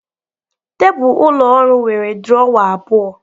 Tebụl ụlọ ọrụ nwere drọwa abụọ